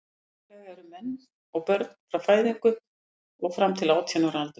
Lagalega eru menn börn frá fæðingu og fram til átján ára aldurs.